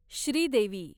Sridevi